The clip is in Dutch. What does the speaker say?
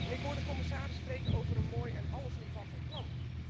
Ik hoor de commissaris spreken over een mooi en allesomvattend plan.